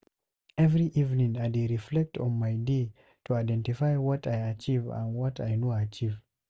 Every evening, I dey reflect on my day to identify what I achieve and what I no achieve.